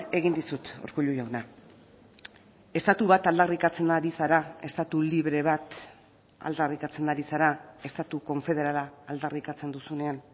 egin dizut urkullu jauna estatu bat aldarrikatzen ari zara estatu libre bat aldarrikatzen ari zara estatu konfederala aldarrikatzen duzunean